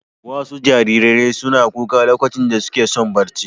Wasu jariran suna kuka lokacin da suke son barci.